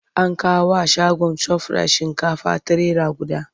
An kawo wa shagon Shofirayit shinkafa trailer guda.